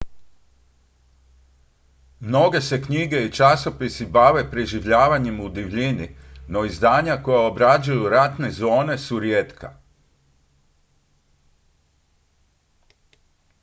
mnoge se knjige i časopisi bave preživljavanjem u divljini no izdanja koja obrađuju ratne zone su rijetka